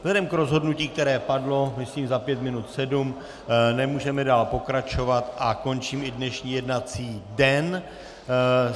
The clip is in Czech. Vzhledem k rozhodnutí, které padlo, myslím, za pět minut sedm, nemůžeme dál pokračovat a končím i dnešní jednací den.